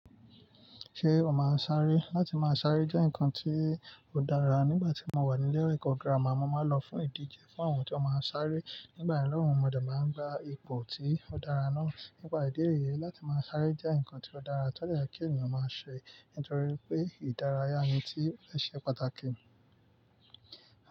Ṣé o máa ń sáré? Látí máa sáré jẹ́ ǹkan tí ó dára. Nígbà tí mo wà ní ilé ẹ̀kọ́ gírámà, mo máa ń lọ fún ìdíje fún àwọn tí ó máa ń sáré. Nígbà náà lọ́un, mọdé máa ń gba ipò tí ó dára náà. Nípa ìdí èyí, láti máa sáré jẹ́ ǹkan tí ó dára tó dé yẹ kí ènìyàn máa ṣe, nítorí pé ìdárayá ni tí ó ṣe pàtàkì.